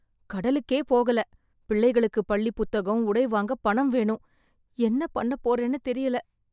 கடலுக்கே போகல, பிள்ளைகளுக்கு பள்ளி புத்தகம் , உடை வாங்க பணம் வேணும் , என்ன பண்ண போறேன்னு தெரியல.